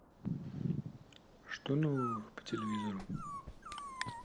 что нового по телевизору